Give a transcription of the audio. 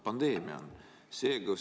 Pandeemia on!